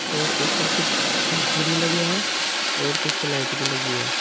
और ऊपर कुछ पंखे भी लगे हैं और कुछ लाइट भी लगी हैं।